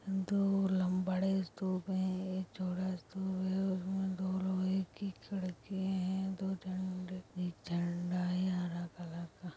दो ल बड़े स्तूप हैं एक चौड़ा स्तूप है उसमे दो लोहे की खिड़कियें हैं दो झंड एक झंडा है हरा कलर का।